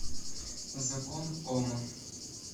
закон ома